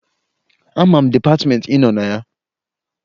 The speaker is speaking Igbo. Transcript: Ama m dịpatịmeentị ị nọ na ya